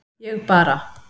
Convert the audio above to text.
Ég bara